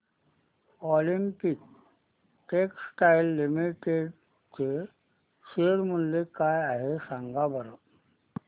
Olympia textiles limited चे share मूल्य काय आहे सांगा बरं